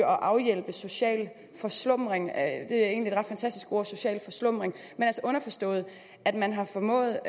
og afhjælpe social forslumring det er egentlig ret fantastiske ord social forslumring men altså underforstået at man har formået